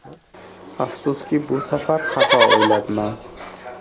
Afsuski bu safar xato o‘ylabman.